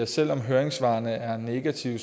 selv om høringssvarene er negative